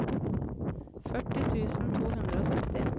førti tusen to hundre og sytti